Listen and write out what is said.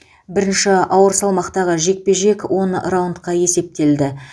бірінші ауыр салмақтағы жекпе жек он раундқа есептелді